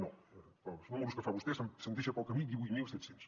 no en els números que fa vostè se’n deixa pel camí divuit mil set cents